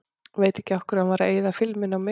Veit ekki af hverju hann var að eyða filmunni á mig.